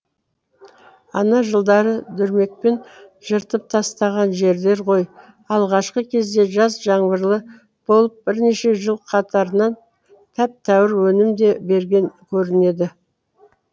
ана жылдары дүрмекпен жыртып тастаған жерлер ғой алғашқы кезде жаз жаңбырлы болып бірнеше жыл қатарынан тәп тәуір өнім де берген көрінеді